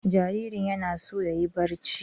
Jaririn yana so yayi barci.